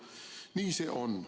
Nii see on.